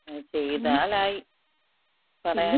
ചെയ്താലായി. പറയാൻ...